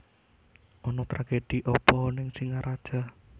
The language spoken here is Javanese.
Ono tragedi opo ning Singaraja